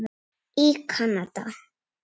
í Kanada.